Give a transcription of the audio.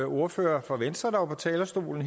ordfører fra venstre der var på talerstolen